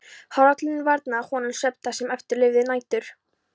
Hrollurinn varnaði honum svefns það sem eftir lifði nætur.